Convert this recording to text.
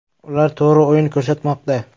Ular to‘g‘ri o‘yin ko‘rsatmoqda.